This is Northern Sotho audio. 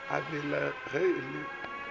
a bela ge e le